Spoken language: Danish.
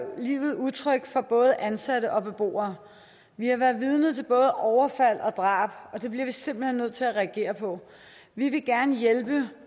livet utrygt for både ansatte og beboere vi har været vidne til både overfald og drab og det bliver vi simpelt hen nødt til at reagere på vi vil gerne hjælpe